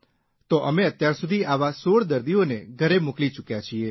તો અમે અત્યારસુધી આવા ૧૬ દર્દીઓને ઘરે મોકલી ચૂક્યા છીએ